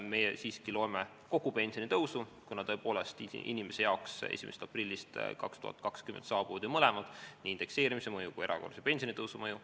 Meie siiski arvestame kogu pensionitõusu, kuna tõepoolest inimese jaoks 1. aprillist 2020 saabuvad ju mõlemad, nii indekseerimise mõju kui ka erakorralise pensionitõusu mõju.